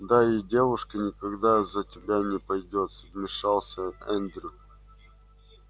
да и девушка никогда за тебя не пойдёт вмешался эндрю